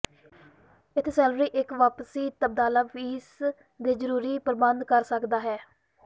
ਇੱਥੇ ਸੈਲਾਨੀ ਇੱਕ ਵਾਪਸੀ ਤਬਾਦਲਾ ਫੀਸ ਜੇ ਜਰੂਰੀ ਪ੍ਰਬੰਧ ਕਰ ਸਕਦਾ ਹੈ